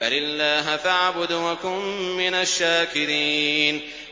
بَلِ اللَّهَ فَاعْبُدْ وَكُن مِّنَ الشَّاكِرِينَ